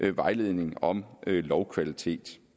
vejledning om lovkvalitet